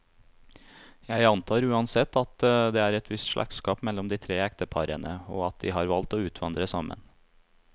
Jeg antar uansett, at det er et visst slektskap mellom de tre ekteparene, og at de har valgt å utvandre sammen.